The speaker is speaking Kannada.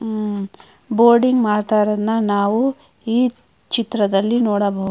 ಉಮ್ ಬೋರ್ಡಿಂಗ್ ಮಾಡತ್ತಾ ಇರೋಡ್ನ್ ನಾವು ಈ ಚಿತ್ರದಲ್ಲಿ ನೋಡಬಹುದು.